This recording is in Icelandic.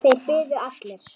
Þeir biðu allir.